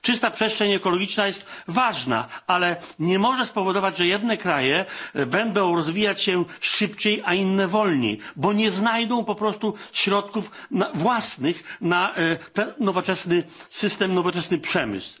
Czysta przestrzeń ekologiczna jest ważna, ale nie może powodować, że jedne kraje będą rozwijać się szybciej, a inne wolniej, bo nie znajdą po prostu środków własnych na nowoczesny system i nowoczesny przemysł.